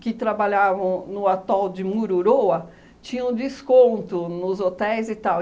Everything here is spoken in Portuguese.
que trabalhavam no atol de Mururoa tinham desconto nos hotéis e tal.